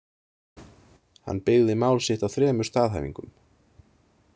Hann byggði mál sitt á þremur staðhæfingum.